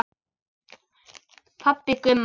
Pabbi Gumma!